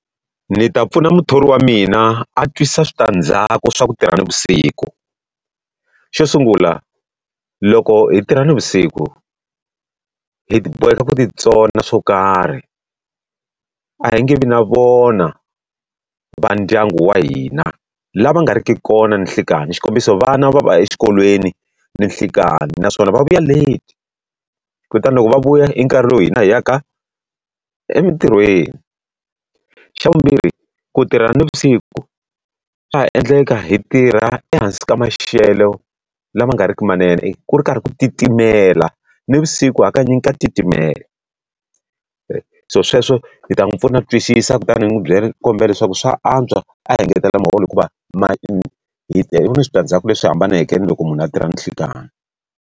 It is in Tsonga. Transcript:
Ni ta pfuna muthori wa mina a twisisa switandzhaku swa ku tirha navusiku. Xo sungula loko hi tirha navusiku, hi boheka ku ti tsona swo karhi, a hi nge vi na vona vandyangu wa hina lava nga ri ki kona ninhlikani. Xikombiso vana va va exikolweni ninhlikani naswona va vuya late, kutani loko va vuya i nkarhi lowu hina hi ya ka emitirhweni. Xa vumbirhi ku tirha navusiku, swa ha endleka hi tirha ehansi ka maxelo lama nga ri ki manene ku ri karhi ku titimela. Navusiku hakanyingi ka titimela. so sweswo hi ta n'wi pfuna ku twisisa kutani hi n'wi kombela leswaku swa antswa a hi engetelela muholo hikuva switandzhaku leswi hambaneke na loko munhu a tirha ninhlikani.